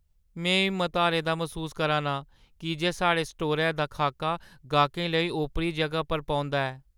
में हिम्मत हारे दा मसूस करा नां की जे साढ़े स्टोरै दा खाका गाह्‌कें लेई ओपरी जगह पर पौंदा ऐ।